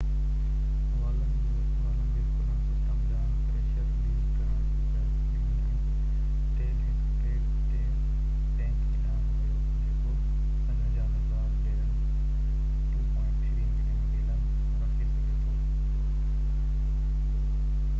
والن جي کلڻ سسٽم ڏانهن پريشر رليز ڪرڻ جي اجازت ڏني ۽ تيل هڪ پيڊ تي ٽينڪي ڏانهن ويو جيڪو 55،000 بيرل 2.3 ملين گيلن رکي سگهي ٿو